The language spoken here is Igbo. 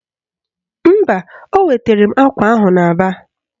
Mba, o wetara m akwa ahụ n'Aba